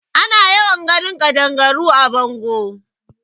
Ana yawan ganin kaɗangaru a bango.